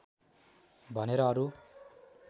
भनेर अरू